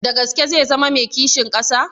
Da gaske zai zama mai kishin ƙasa?